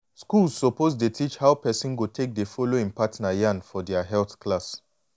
schools suppose dey teach how person go take dey follow em partner yan for dea health class.